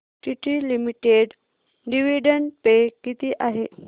TT limited dividend pay किती आहे